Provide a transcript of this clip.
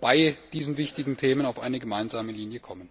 bei diesen wichtigen Themen auf eine gemeinsame Linie kommen.